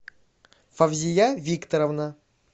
фавзия викторовна